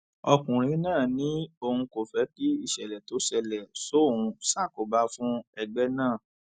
ọkùnrin náà ní òun kò fẹ kí ìṣẹlẹ tó ṣẹlẹ sóun ṣàkóbá fún ẹgbẹ náà